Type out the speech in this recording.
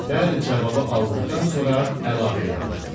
Bəli cavabı aldıqdan sonra əlavə elədi.